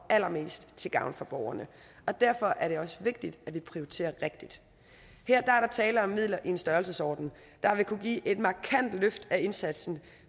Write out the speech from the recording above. allermest til gavn for borgerne og derfor er det også vigtigt at vi prioriterer rigtigt her er der tale om midler i en størrelsesorden der vil kunne give et markant løft af indsatsen